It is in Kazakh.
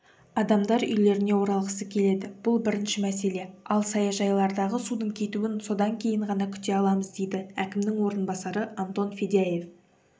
адамдар үйлеріне оралғысы келеді бұл бірінші мәселе ал саяжайлардағы судың кетуін содан кейін ғана күте аламыз дейді әкімінің орынбасарыантон федяев